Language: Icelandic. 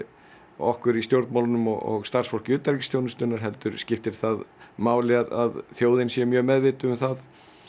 okkur í stjórnmálunum og starfsfólk utanríkisþjónustunnar heldur skiptir það máli að þjóðin sé mjög meðvituð um það